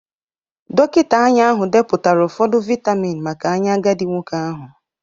Dọkịta anya ahụ depụtara ụfọdụ vitamin maka anya agadi nwoke ahụ